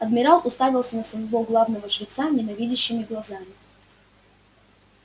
адмирал уставился на своего главного жреца ненавидящими глазами